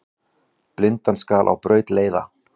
Blindan skal á braut leiða.